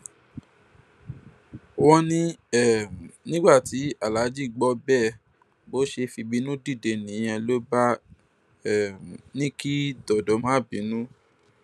wọn ní um nígbà tí aláàjì gbọ bẹẹ bó ṣe fìbínú dìde nìyẹn ló bá um ní kí dọdọ má bínú